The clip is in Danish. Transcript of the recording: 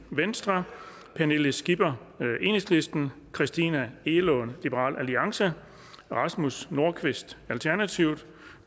pernille skipper christina egelund rasmus nordqvist